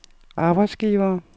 arbejdsgivere